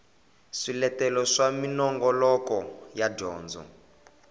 swiletelo swa minongoloko ya dyondzo